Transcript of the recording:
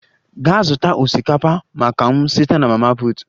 Gaa zụta osikapa maka m site na mama put!